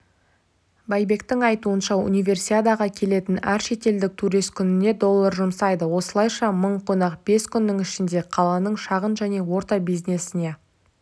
байбектің айтуынша универсиадаға келетін әр шетелдік турист күніне доллар жұмсайды осылайша мың қонақ бес күннің ішінде қаланың шағын және орта бизнесіне